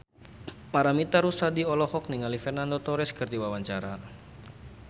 Paramitha Rusady olohok ningali Fernando Torres keur diwawancara